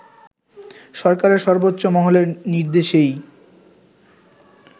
সরকারের সর্বোচ্চ মহলের নির্দেশেই